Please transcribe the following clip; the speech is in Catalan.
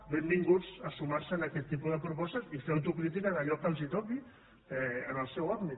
benvinguts a sumar se en aquest tipus de propostes i fer autocrítica d’allò que els toqui en el seu àmbit